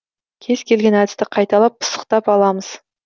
кез келген әдісті қайталап пысықтап аламыз